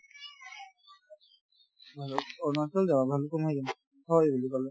আৰু অৰুণাচল যাবা মই দিম হয় বুলি ক'লে